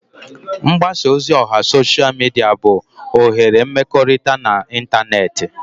Mgbasa ozi oha sosha mịdịa bụ oghere mmekọrịta na ịntanetị.